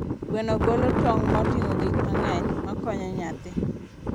Gweno golo tong' moting'o gik mang'eny makonyo nyathi.